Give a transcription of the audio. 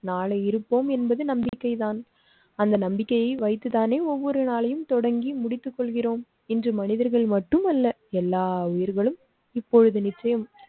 நாளை இருப்போம் என்பது நம்பிக்கைதான். அந்த நம்பிக்கையை வைத்து தானே ஒவ்வொரு நாளையும் தொடங்கி முடித்து கொள்கிறோம். இன்று மனிதர்கள் மட்டுமல்ல எல்லா உயிர்களும் இப்பொழுது நிச்சயம்.